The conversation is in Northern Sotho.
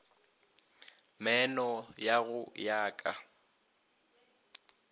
meeno ya go ya ka